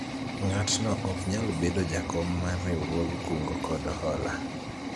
ng'atno ok nyal bedo jakom mar riwruog kungo kod hola